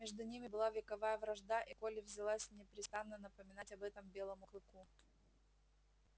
между ними была вековая вражда и колли взялась непрестанно напоминать об этом белому клыку